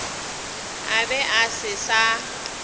a be a se sa